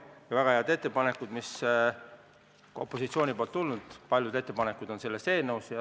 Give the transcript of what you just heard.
Ja ka paljud väga head ettepanekud, mis opositsioonist on tulnud, on selles eelnõus.